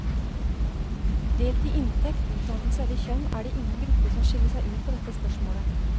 Delt i inntekt, utdannelse eller kjønn, er det ingen gruppe som skiller seg ut på dette spørsmålet.